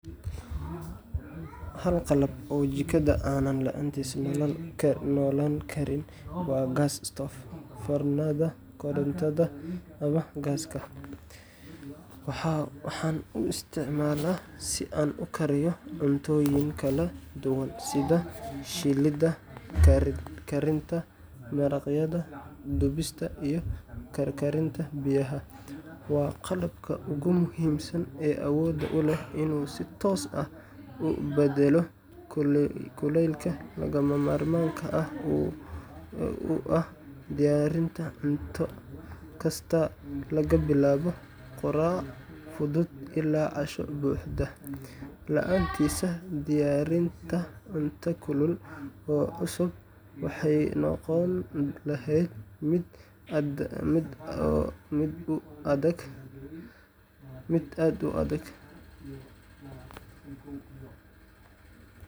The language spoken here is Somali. Hal qalab oo jikada aanan la’aantiis noolaan karin waa gas stove foornada korontada ama gaaska. Waxaan u isticmaalaa si aan u kariyo cuntooyin kala duwan sida shiilidda, karinta maraqyada, dubista, iyo karkarinta biyaha. Waa qalabka ugu muhiimsan ee awood u leh inuu si toos ah u beddelo kulaylka lagama maarmaanka u ah diyaarinta cunto kasta laga bilaabo quraac fudud ilaa casho buuxda. La’aantiis, diyaarinta cunto kulul oo cusub waxay noqon lahayd mid aad u adag.